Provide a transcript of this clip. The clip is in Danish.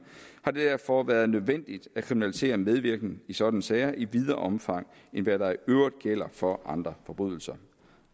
har det derfor været nødvendigt at kriminalisere medvirken i sådanne sager i videre omfang end hvad der i øvrigt gælder for andre forbrydelser